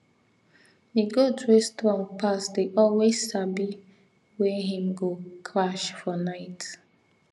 the goat wey strong pass dey always sabi wey him go crash for night